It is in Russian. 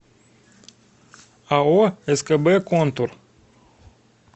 ао скб контур